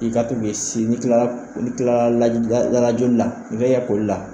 I ka tu k'i si n'i kilala n'i kilala la la lajoli la